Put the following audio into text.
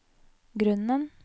grunnen